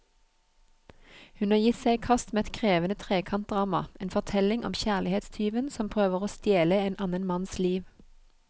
Hun har gitt seg i kast med et krevende trekantdrama, en fortelling om kjærlighetstyven som prøver å stjele en annen manns liv.